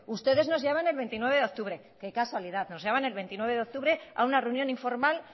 ustedes nos llaman el veintinueve de octubre qué casualidad nos llaman el veintinueve de octubre a una reunión informal